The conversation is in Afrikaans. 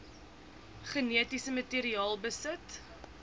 genetiese materiaal besit